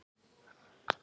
Þú ert þá?